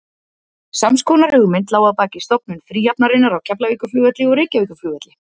Sams konar hugmynd lá að baki stofnun fríhafnarinnar á Keflavíkurflugvelli og Reykjavíkurflugvelli.